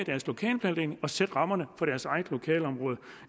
sætte rammerne for deres eget lokalområde